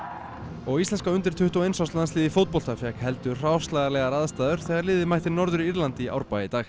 og íslenska undir tuttugu og eins árs landsliðið fékk heldur leiðinlegar aðstæður þegar liðið mætti Norður Írlandi í Árbæ í dag